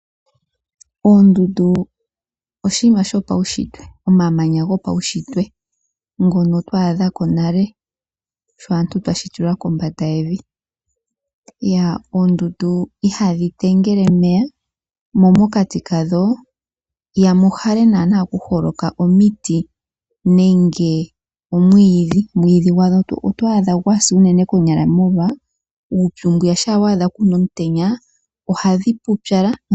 Oondundu oshinima shopaushitwe, omamanya gopaushitwe ngono twa adha ko nale sho aantu twa shitilwa kombanda yevi. Oondundu ohadhi tengele omeya, mo mokati kadho ihamu hala naana ku holoka omiti nenge omwiidhi. Omwiidhi gwadho oto adha gwa sa unene konyala molwa uupyu mbwiya, shampa kuna omutenya ohadhi pupyala.